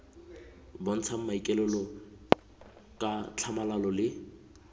bontshang maikaelelo ka tlhamalalo le